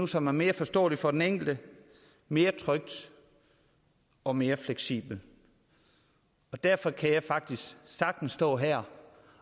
som er mere forståeligt for den enkelte mere trygt og mere fleksibelt derfor kan jeg faktisk sagtens stå her